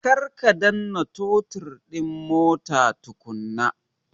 Kar ka danna totir din mota tukunna!